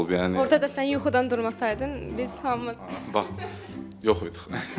Orada da sən yuxudan durmasaydın, biz hamımız yox idik.